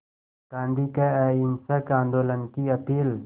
गांधी के अहिंसक आंदोलन की अपील